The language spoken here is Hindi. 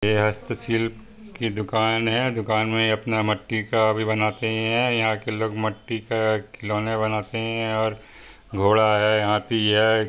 ये हस्त शिल् की दुकान है दुकान में अपना मट्टी का भी बनाते हैं यहाँ के लोग मट्टी का खिलौने बनाते है और घोड़ा है हाथी है।